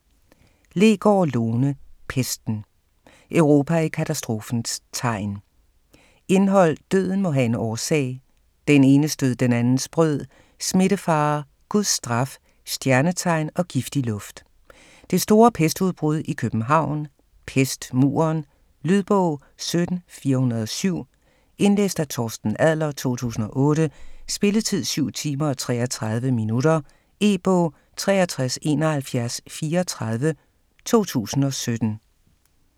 Leegaard, Lone: Pesten: Europa i katastrofens tegn Indhold: Døden må have en årsag ; Den enes død, den andens brød ; Smittefare ; Guds straf ; Stjernetegn og giftig luft ; Det store pestudbrud i København ; Pestmuren. Lydbog 17407 Indlæst af Torsten Adler, 2008. Spilletid: 7 timer, 33 minutter. E-bog 637134 2017.